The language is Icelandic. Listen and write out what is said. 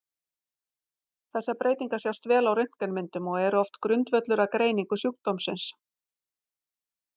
Þessar breytingar sjást vel á röntgenmyndum og eru oft grundvöllur að greiningu sjúkdómsins.